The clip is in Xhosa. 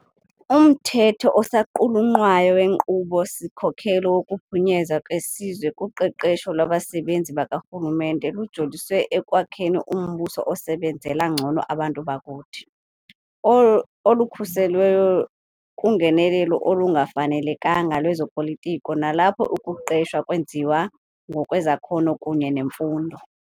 Umthetho osaqulunqwayo weNkqubo-sikhokelo wokuPhunyezwa kweSizwe kuQeqesho lwaBasebenzi bakaRhulumente lujolise ekwakheni umbuso osebenzela ngcono abantu bakuthi, olukhuselweyo kungenelelo olungafanelekanga lwezo politiko nalapho ukuqeshwa kwenziwa ngokwezakhono kunye nemfundo.